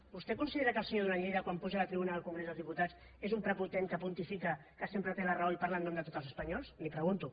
vostè considera que el senyor duran lleida quan puja a la tribuna del congrés dels diputats és un prepotent que pontifica que sempre té la raó i parla en nom de tots els espanyols li ho pregunto